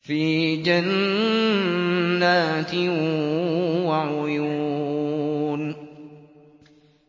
فِي جَنَّاتٍ وَعُيُونٍ